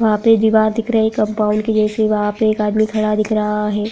वहाँ पे दीवार दिख रहा है कंपाउंड क जैसी वहाँ पर एक आदमी खड़ा दिख रहा है।